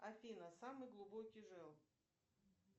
афина самый глубокий желоб